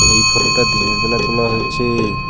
এই ফটোটা দিনের বেলা তোলা হয়েছে।